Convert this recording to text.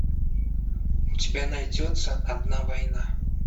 у тебя найдется одна война